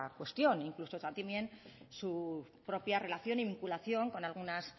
cuestión incluso su propia relación y vinculación con algunas